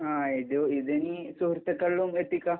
ആ, ഇതിനി സുഹൃത്തുകളിലും എത്തിക്കാം.